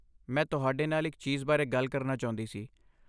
ਮੈਂ ਤੁਹਾਡੇ ਨਾਲ ਇੱਕ ਚੀਜ਼ ਬਾਰੇ ਗੱਲ ਕਰਨਾ ਚਾਹੁੰਦੀ ਸੀ।